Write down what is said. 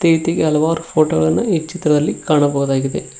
ಹಲವಾರು ಫೋಟೋ ಗಳನ್ನು ಈ ಚಿತ್ರದಲ್ಲಿ ಕಾಣಬಹುದಾಗಿದೆ.